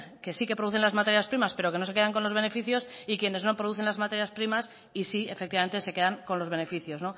que sí que producen las materias primas pero que no se quedan con los beneficios y quienes no producen las materias primas y sí efectivamente se quedan con los beneficios